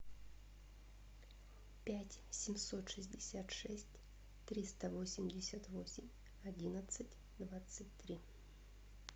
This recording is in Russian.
пять семьсот шестьдесят шесть триста восемьдесят восемь одиннадцать двадцать три